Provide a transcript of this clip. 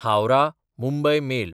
Howrah Mumbai mail